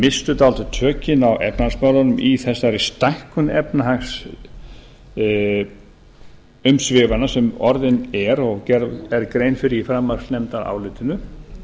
menn misstu dálítið tökin á efnahagsmálunum í þessari stækkun efnahagsumsvifanna sem orðin er og gerð grein fyrir í framhaldsnefndarálitinu